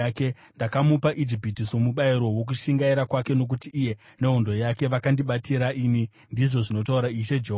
Ndakamupa Ijipiti somubayiro wokushingaira kwake nokuti iye nehondo yake vakandibatira ini, ndizvo zvinotaura Ishe Jehovha.